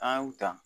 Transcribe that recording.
An y'u ta